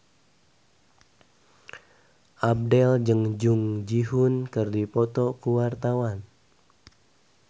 Abdel jeung Jung Ji Hoon keur dipoto ku wartawan